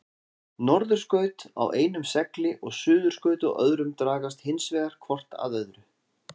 Norðurskaut á einum segli og suðurskaut á öðrum dragast hins vegar hvort að öðru.